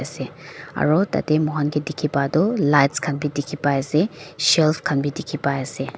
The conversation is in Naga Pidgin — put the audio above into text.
aro uhatata mohan ke dekh bai tue lights khan bei dekhe bai ase shelf khan be dekhi bai ase.